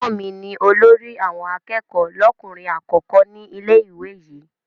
Ẹ̀gbọ́n mi ni olórí àwọn akẹ́kọ̀ọ́ lọ́kùnrin àkọ́kọ́ ní ilé-ìwé yìí.